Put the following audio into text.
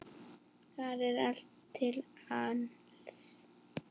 Þar er allt til alls.